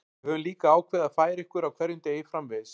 Við höfum líka ákveðið að færa ykkur á hverjum degi framvegis.